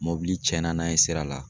Mɔbili tiɲɛn na n'a ye sira la.